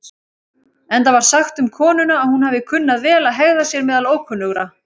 Enda var sagt um konuna að hún hafi kunnað vel að hegða sér meðal ókunnugra.